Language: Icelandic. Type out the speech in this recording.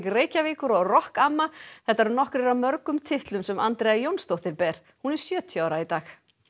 Reykjavíkur og rokk amma þetta eru nokkrir af mörgum titlum sem Andrea Jónsdóttir ber hún er sjötíu ára í dag